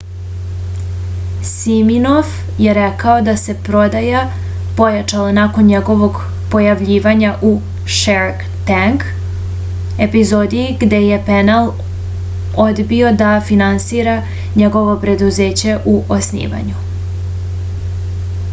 siminof je rekao da se prodaja pojačala nakon njegovog pojavljivanja u shark tank epizodi gde je panel odbio da finansira njegovo preduzeće u osnivanju